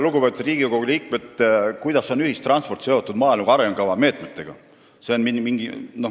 Lugupeetud Riigikogu liikmed, kuidas on ühistransport seotud maaelu arengukava meetmetega?